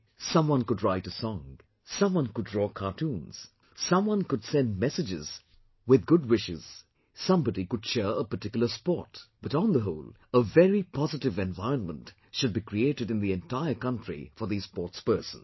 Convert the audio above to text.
Someone could write a song, someone could draw cartoons, someone could send messages with good wishes, somebody could cheer a particular sport, but on the whole a very positive environment should be created in the entire country for these sportspersons